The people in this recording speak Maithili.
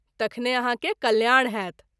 तखने आहाँ के कल्याण होयत।